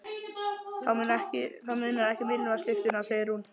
Það munar ekki um ilmvatnslyktina, segir hún.